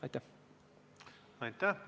Aitäh!